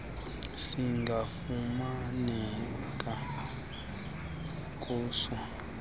singafumaneka kuso nasiphi